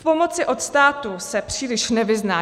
V pomoci od státu se příliš nevyzná.